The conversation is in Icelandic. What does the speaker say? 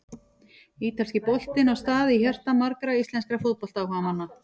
Ítalski boltinn á stað í hjarta margra íslenskra fótboltaáhugamanna.